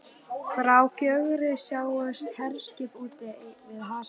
Frá Gjögri sáust herskip úti við hafsbrún